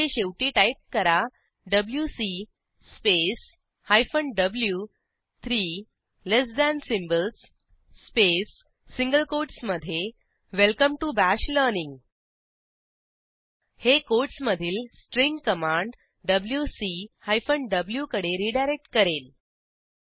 येथे शेवटी टाईप करा WC space hyphen V three less than symbols space single कोटसमधे वेलकम टीओ बाश लर्निंग हे कोटसमधील string command WC hyphen V कडे रीडायरेक्ट करेल